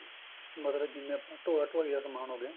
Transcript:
ਮਤਲਬ ਜਿਵੇਂ ਆਪਾਂ ਢੋਆ ਢੋਆਈ ਦਾ ਸਮਾਨ ਹੋਵੇ